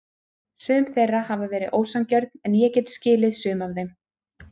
Sum þeirra hafa verið ósanngjörn en ég get skilið sum af þeim.